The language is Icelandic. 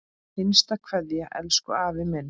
HINSTA KVEÐJA Elsku afi minn.